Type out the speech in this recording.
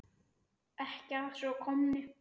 Ekki að svo komnu.